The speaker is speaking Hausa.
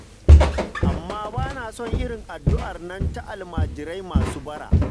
Amma ba na son irin addu'ar nan ta almajirai masu bara.